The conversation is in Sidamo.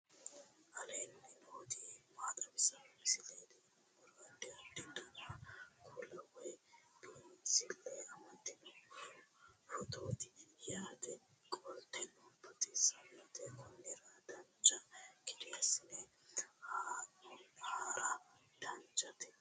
aleenni nooti maa xawisanno misileeti yinummoro addi addi dananna kuula woy biinsille amaddino footooti yaate qoltenno baxissannote konnira dancha gede assine haara danchate